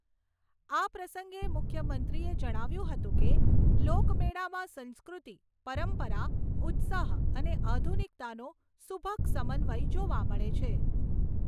આ પ્રસંગે મુખ્યમંત્રીએ જણાવ્યું હતું કે, લોકમેળામાં સંસ્કૃતિ, પરંપરા, ઉત્સાહ અને આધુનિકતાનો સુભગ સમન્વય જોવા મળે છે.